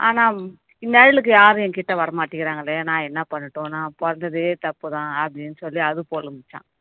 ஆனா நிழலுக்கு யாரும் என் கிட்ட வர மாட்டேங்குறாங்களே நான் என்ன பண்ணட்டும் நான் பொறந்ததே தப்பு தான் அப்படீன்னு சொல்லி அது புலம்பிச்சாம்